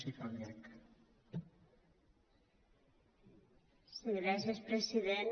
sí gràcies president